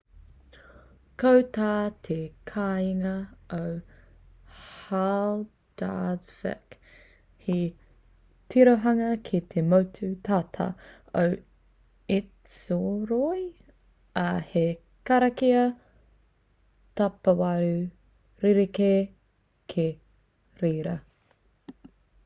ko tā te kāinga o haldarsvik he tirohanga ki te motu tata o esturoy ā he karakia tapawaru rerekē ki reira